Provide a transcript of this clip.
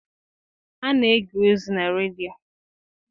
A na-ege ozi na redio.